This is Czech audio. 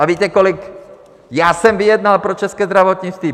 A víte, kolik já jsem vyjednal pro české zdravotnictví?